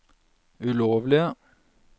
ulovlige